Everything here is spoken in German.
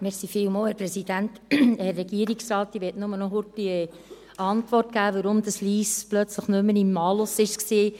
Ich möchte nur kurz eine Antwort geben, weshalb Lyss plötzlich nicht mehr im Malus war.